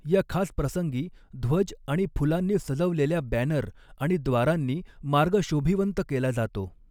या खास प्रसंगी, ध्वज आणि फुलांनी सजवलेल्या बॅनर आणि द्वारांनी मार्ग शोभीवंत केला जातो.